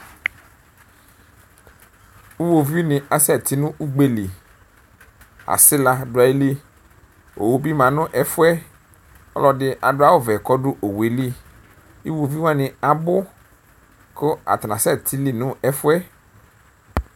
ʋwovini asɛtinʋ ʋgbeli asila dʋ ayili owʋbi ma nʋ ɛƒʋɛ ɔlʋɛdi dʋ owʋyɛli iwoviwani abʋ kʋ atani asɛti nʋ ɛƒʋɛ